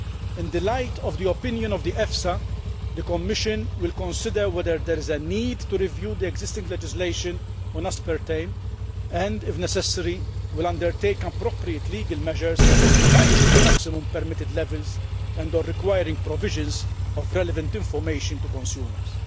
In the light of EFSA's opinion, the Commission will consider whether there is a need to review existing legislation on aspartame and, if necessary, will undertake appropriate legal measures, such as revising maximum permitted levels and or requiring the provision of relevant information to consumers.